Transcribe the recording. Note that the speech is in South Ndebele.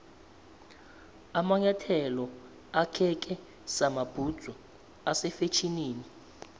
amanyathelo akheke samabhudzu ase fetjhenini